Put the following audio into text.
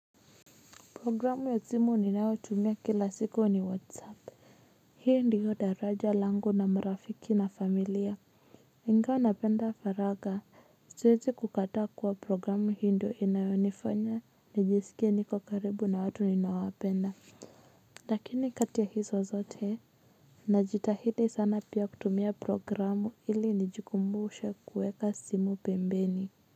Programu ya simu ninao tumia kila siku ni whatsapp. Hii ndiyo daraja langu na marafiki na familia ingawa napenda faragha. Siezi kukataa kuwa programu hii ndio inayonifanya nijisikie niko karibu na watu ninawapenda. Lakini kati ya hizo zote najitahidii sana pia kutumia programu ili nijikumbushe kuweka simu pembeni.